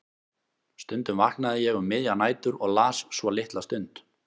Stundum vaknaði ég um miðjar nætur og las svo litla stund.